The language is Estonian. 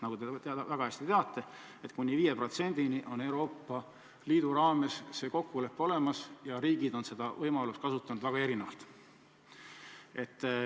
Nagu te väga hästi teate, kuni 5%-ni on Euroopa Liidu raames see kokkulepe olemas, aga riigid on seda võimalust kasutanud väga erinevalt.